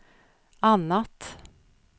annat